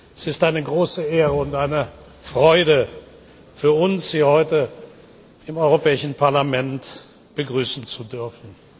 Es ist eine große Ehre und eine Freude für uns, Sie heute im Europäischen Parlament begrüßen zu dürfen.